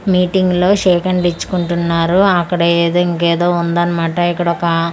Meeting లో shake hand ఇచ్చుకుంటున్నారు అక్కడ ఏదో ఇంకేదో వుందన్న మాట ఇక్కడొకా.